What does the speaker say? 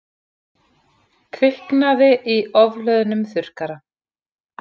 Kviknaði í ofhlöðnum þurrkara